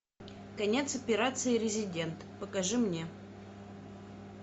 конец операции резидент покажи мне